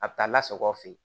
A bɛ taa lasago fe yen